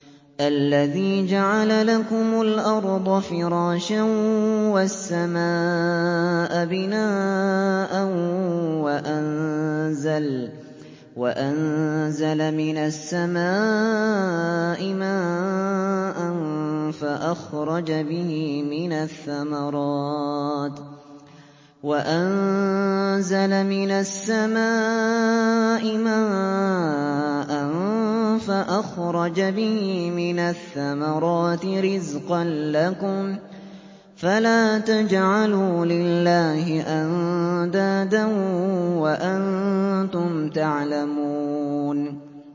الَّذِي جَعَلَ لَكُمُ الْأَرْضَ فِرَاشًا وَالسَّمَاءَ بِنَاءً وَأَنزَلَ مِنَ السَّمَاءِ مَاءً فَأَخْرَجَ بِهِ مِنَ الثَّمَرَاتِ رِزْقًا لَّكُمْ ۖ فَلَا تَجْعَلُوا لِلَّهِ أَندَادًا وَأَنتُمْ تَعْلَمُونَ